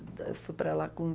Eu fui para lá com